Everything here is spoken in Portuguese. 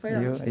Foi ótimo.